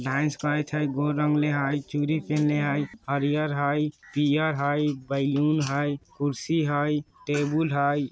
डांस करत हई गौर रंगले हई चूड़ी पहनले हई हरिहर हई पियर हई बेलून हई कुर्सी हई टेबुल हई।